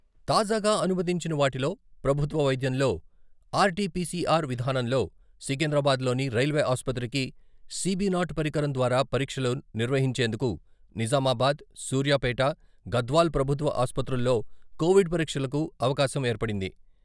తాజాగా అనుమతించిన వాటిలో ప్రభుత్వ వైద్యంలో ఆర్టీపీసీఆర్ విధానంలో సికింద్రాబాద్‌లోని రైల్వే ఆసుపత్రికి, సీబీ నాట్ పరికరం ద్వారా పరీక్షలు నిర్వహించేందుకు నిజామాబాద్, సూర్యాపేట, గద్వాల ప్రభుత్వ ఆసుపత్రుల్లో కొవిడ్ పరీక్షలకు అవకాశం ఏర్పడింది.